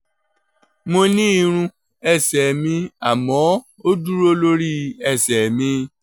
mo ní irun ẹsẹ̀ mi àmọ́ ó dúró lórí ẹsẹ̀ mi